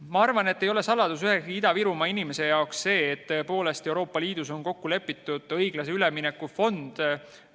Ma arvan, et ühegi Ida-Virumaa inimese jaoks ei ole saladus, et Euroopa Liidus on kokku lepitud õiglase ülemineku fond.